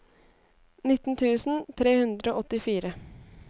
nitten tusen tre hundre og åttifire